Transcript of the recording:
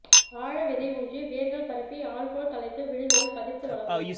ஆழ விதை ஊன்றி வேர்கள் பரப்பி ஆல்போல் தழைத்து விழதுகள் பதித்துவளர்வோம்